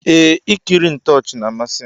Eeh ikiri ntoochi na amasim.